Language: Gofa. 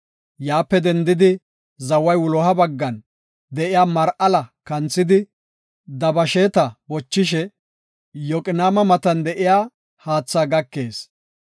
Yaape dendidi zaway wuloha baggan de7iya Mar7ala kanthidi, Dabasheeta bochishe, Yoqinaama matan de7iya haatha gakees.